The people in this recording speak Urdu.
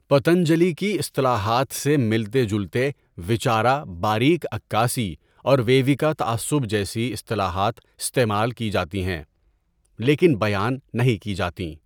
پتنجلی کی اصطلاحات سے ملتے جلتے وچارا باریک عکاسی اور ویویکا تعصب جیسی اصطلاحات استعمال کی جاتی ہیں، لیکن بیان نہیں کی جاتیں.